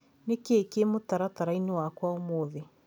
Nĩ kĩĩ kĩĩ mũtaratara-inĩ wakwa ũmũthĩ.?